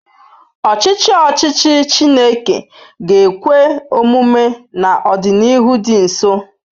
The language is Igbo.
Ọchịchị ọchịchị Chineke ga-ekwe omume n'ọdịnihu dị nso.